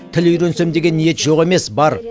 тіл үйренсем деген ниет жоқ емес бар